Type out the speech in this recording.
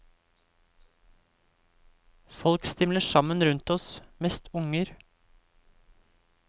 Folk stimler sammen rundt oss, mest unger.